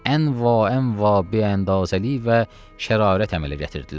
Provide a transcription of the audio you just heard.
Ən va va beəzəli və şərarət əmələ gətirdilər.